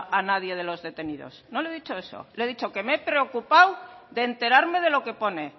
a nadie de los detenidos no le he dicho eso le he dicho que me he preocupado de enterarme de lo que pone